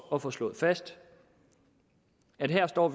at få slået fast at vi her står